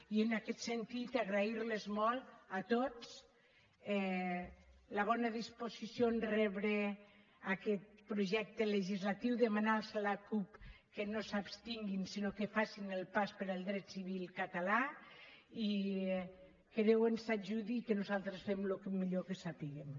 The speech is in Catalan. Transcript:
i en aquest sentit agrair los molt a tots la bona disposició a rebre aquest projecte legislatiu demanar als de la cup que no s’abstinguin sinó que facin el pas per al dret civil català i que déu ens ajudi i que nosaltres ho fem al millor que sapiguem